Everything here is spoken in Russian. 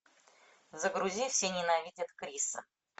загрузи все ненавидят криса